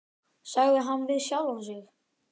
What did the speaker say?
sagði hann við sjálfan sig.